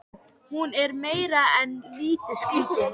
Hún er meira en lítið skrítin.